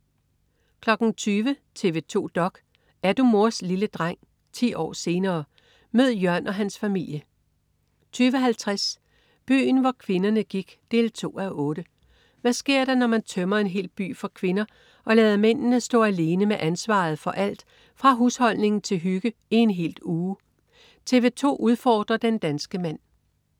20.00 TV 2 dok.: Er du mors lille dreng? 10 år senere. Mød Jørn og hans familie 20.50 Byen hvor kvinderne gik 2:8. Hvad sker der, når man tømmer en hel by for kvinder og lader mændene stå alene med ansvaret for alt fra husholdning til hygge i en hel uge? TV 2 udfordrer den danske mand